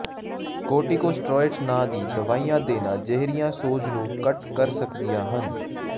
ਕਾਟਟੀਕੋਸਟੋਰਾਇਡਜ਼ ਨਾਂ ਦੀ ਦਵਾਈਆਂ ਦੇਣਾ ਜਿਹੜੀਆਂ ਸੋਜ ਨੂੰ ਘੱਟ ਕਰ ਸਕਦੀਆਂ ਹਨ